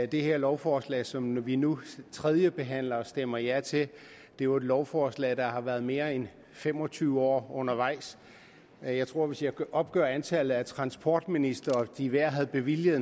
det her lovforslag som vi nu tredjebehandler og stemmer ja til er jo et lovforslag der har været mere end fem og tyve år undervejs jeg tror at hvis jeg opgør antallet af transportministre og de hver havde bevilget